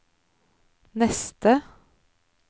neste